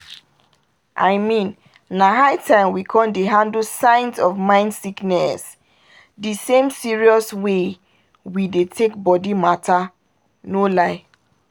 i mean na high time we con dey handle signs of mind sickness **de same serious way** we dey take body matter! no lie!